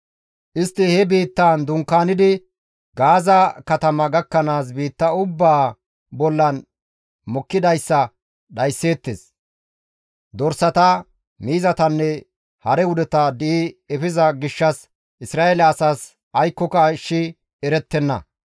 Istti he biittaan dunkaanidi Gaaza katama gakkanaas biitta ubbaa bollan mokkidayssa dhaysseettes; dorsata, miizatanne hare wudeta di7i efiza gishshas Isra7eele asaas aykkoka ashshi erettenna.